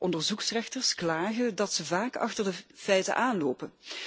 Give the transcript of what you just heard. Onderzoeksrechters klagen dat ze vaak achter de feiten aanlopen.